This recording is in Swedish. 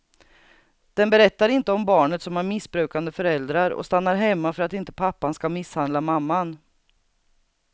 Den berättar inte om barnet som har missbrukande föräldrar och stannar hemma för att inte pappan ska misshandla mamman.